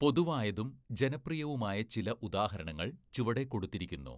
പൊതുവായതും ജനപ്രിയവുമായ ചില ഉദാഹരണങ്ങൾ ചുവടെ കൊടുത്തിരിക്കുന്നു.